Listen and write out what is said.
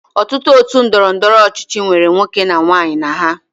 Ọtụtụ otu ndọrọndọrọ ọchịchị nwere nwoke na nwaanyị na ha